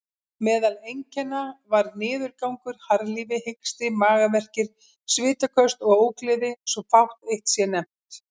Meðal einkenna var niðurgangur, harðlífi, hiksti, magaverkir, svitaköst og ógleði, svo fátt eitt sé nefnt.